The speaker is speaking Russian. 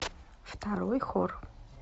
второй хор